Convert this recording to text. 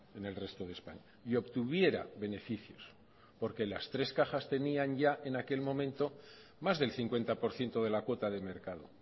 en el resto de españa y obtuviera beneficios porque las tres cajas tenían ya en aquel momento más del cincuenta por ciento de la cuota de mercado